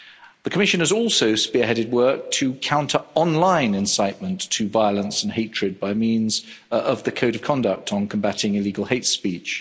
The Commission has also spearheaded work to counter online incitement to violence and hatred by means of the Code of Conduct on Combating Illegal Hate Speech.